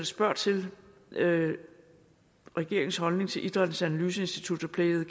spørger til regeringens holdning til idrættens analyseinstituts og play the